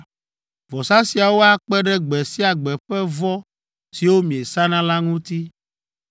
Vɔsa siawo akpe ɖe gbe sia gbe ƒe vɔ siwo miesana la ŋuti.